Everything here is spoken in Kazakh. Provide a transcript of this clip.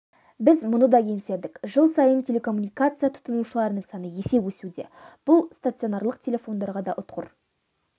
біз мұны да еңсердік жыл сайын телекоммуникация тұтынушыларының саны өсе түсуде бұл стационарлық телефондарға да ұтқыр